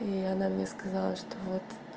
и она мне сказала что вот